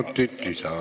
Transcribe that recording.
Kolm minutit lisaaega.